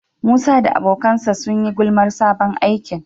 Musa da abokansa sun yi gulmar sabon aikin.